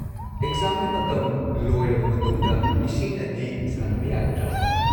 ꯑꯦꯛꯖꯥꯝꯒꯤ ꯃꯇꯝ ꯂꯣꯏꯔꯕ ꯃꯇꯨꯡꯗ ꯏꯁꯤꯡꯅꯗꯤ ꯁꯥꯟꯅꯕ ꯌꯥꯒꯗ꯭ꯔꯥ?